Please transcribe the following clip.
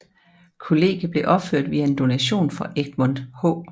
Kollegiet blev opført via en donation fra Egmont H